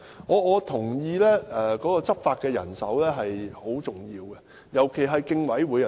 我認同執法的人手是很重要的，尤其是競委會。